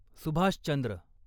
Subhash Chandra